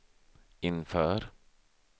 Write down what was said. inför